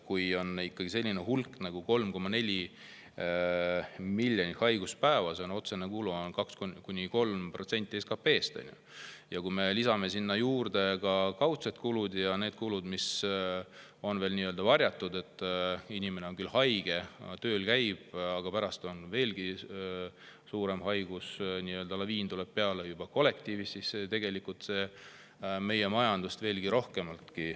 Kui on ikkagi selline hulk haiguspäevi nagu 3,4 miljonit, siis on otsene kulu 2–3% SKP‑st. Ja kui me lisame sinna juurde ka kaudsed kulud ja veel nii-öelda varjatud kulud – inimene on küll haige, aga käib tööl, ja pärast tuleb veelgi suurem haiguslaviin kollektiivis –, siis see pärsib meie majandust veelgi rohkem.